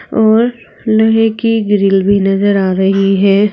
और लोहे की ग्रिल भी नजर आ रही है।